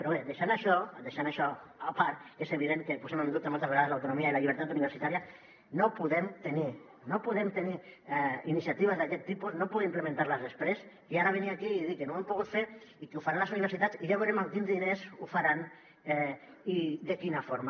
però bé deixant això deixant això a part que és evident que posem en dubte moltes vegades l’autonomia i la llibertat universitària no podem tenir iniciatives d’aquest tipus no pugui implementar les després i ara venir aquí i dir que no ho hem pogut fer i que ho faran les universitats i ja veurem amb quins diners ho faran i de quina forma